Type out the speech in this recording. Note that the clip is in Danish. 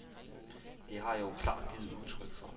Det har jeg jo klart givet udtryk for.